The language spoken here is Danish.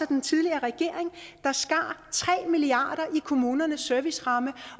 den tidligere regering der skar tre milliard i kommunernes serviceramme